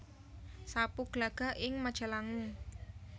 Sapu Glagah ing Majalangu